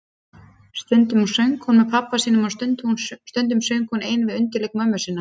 Stundum söng hún með pabba sínum og stundum söng hún ein við undirleik mömmu sinnar.